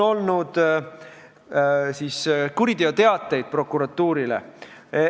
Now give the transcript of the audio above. On esitatud kuriteoteateid prokuratuurile.